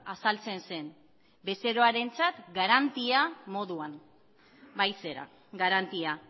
azaltzen zen bezeroarentzat garantia moduan bai zera garantia